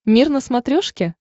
мир на смотрешке